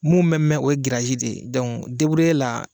Mun mɛ mɛn o ye girasi de ye, dɔnku debureye la